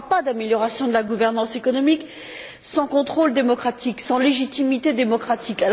Il n'y aura pas d'amélioration de la gouvernance économique sans contrôle démocratique, sans légitimité démocratique.